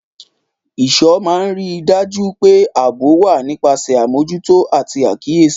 Ìṣọ́ máa ń rí i dájú pé ààbò wà nípasẹ̀ àmójútó àti àkíyèsí.